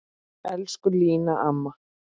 Elsku Lína amma.